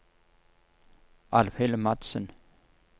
Alvhild Madsen